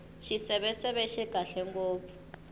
xiseveseve xi kahle ngopfu